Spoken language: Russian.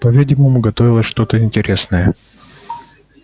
по-видимому готовилось что-то интересное